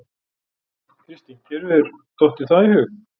Kristín: Þér hefur dottið það í hug?